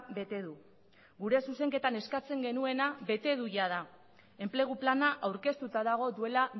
bete du gure zuzenketan eskatzen genuena bete du jada enplegu plana aurkeztuta dago duela